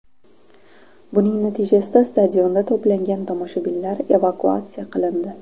Buning natijasida stadionda to‘plangan tomoshabinlar evakuatsiya qilindi.